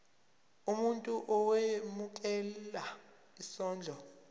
umuntu owemukela isondlo